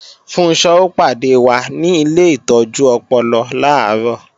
Funṣọ́ ó pàdé wa ni ilé ìtọ́jú ọpọlọ làárọ̀